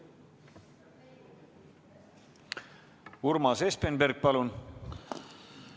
Urmas Espenberg, palun!